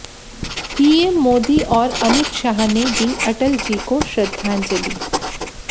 PM Modi और अमित शाह ने दी अटल जी को श्रद्धांजलि